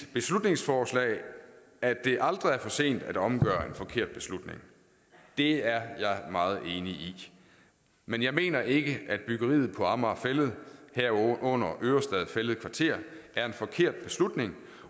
beslutningsforslag at det aldrig er for sent at omgøre en forkert beslutning det er jeg meget enig i men jeg mener ikke at byggeriet på amager fælled herunder ørestad fælled kvarter er en forkert beslutning